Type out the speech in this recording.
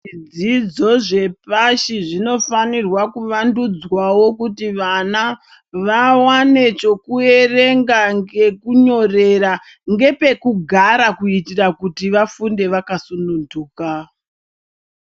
Zvidzidzo zvepashi zvinofanirwa kuvandudzwawo kuti vana vawane chokuverenga, chekunyorera ngepekugarira kuitira kuti vafunde vakasununduka.